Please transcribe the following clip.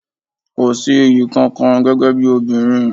Kò sí iyì kankan gẹ́gẹ́ bí obìnrin.